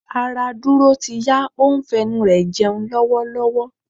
Ará Dúró ti yá, ó ń fẹnu rẹ jẹun lọ́wọ́lọ́wọ́.